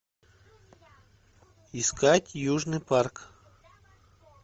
искать южный парк